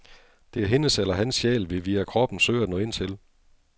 Det er hendes eller hans sjæl, vi via kroppen søger at nå ind til.